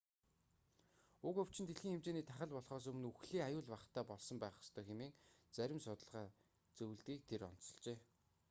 уг өвчин дэлхийн хэмжээний тахал болхоос өмнө үхлийн аюул багатай болсон байх ёстой хэмээн зарим судалгаа зөвлөдгийг тэр онцолжээ